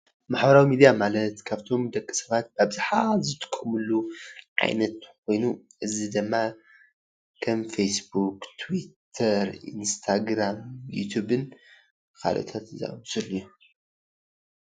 ማሕበራዊ ሚድያ ማለት ካብቶም ደቂ ሰባት ብኣብዝሓ ዝጥቀምሉ ዓይነት ኮይኑ፡፡ እዚ ድማ ከም ፌስቡክ፣ ትዊተር፣ ኢንስታግራም ዩቲቭን ካልኦታት ዝኣምሳሰሉ እዮም፡፡